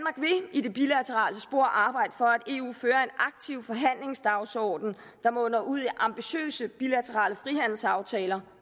i det bilaterale spor arbejde for at eu fører en aktiv forhandlingsdagsorden der munder ud i ambitiøse bilaterale frihandelsaftaler